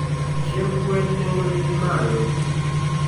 Chiemb gwen nengone ni malo.